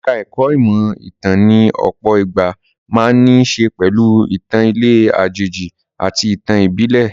Ẹ̀ka ẹ̀kó ìmọ̀ ìtàn ní ọ̀pọ̀ ìgbà máa ń ní í ṣe pẹ̀lú ìtàn ilẹ̀ àjèjì àti ìtàn ìbílè.